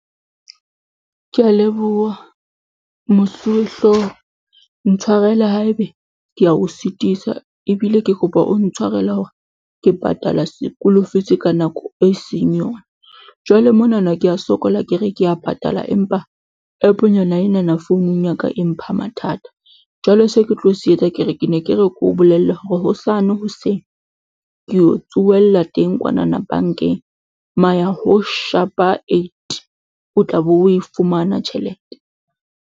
Ke a leboha mosuwehlooho ntshwarele haebe ke a o sitisa ebile ke kopa o ntshwarele hore ke patala se-school fees ka nako e seng yona. Jwale mona na ke a sokola, ke re ke a patala. Empa app-nyana ena na founung ya ka e mpha mathata. Jwale se ke tlo se etsa, ke re ke ne ke re ke o bolelle hore hosane hoseng, ke o tsohella teng kwana na bank-eng, ma ya ho shapa eight o tla be o e fumana tjhelete.